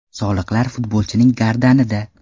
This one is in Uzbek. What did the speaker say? Soliqlar futbolchining gardanida.